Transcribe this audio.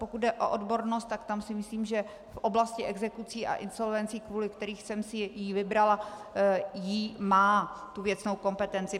Pokud jde o odbornost, tak tam si myslím, že v oblasti exekucí a insolvencí, kvůli kterým jsem si ji vybrala, ji má, tu věcnou kompetenci.